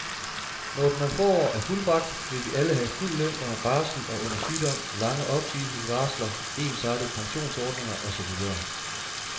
Når den om få år er fuldbragt, vil vi alle have fuld løn under barsel og under sygdom, lange opsigelsesvarsler, ensartede pensionsordninger og så videre.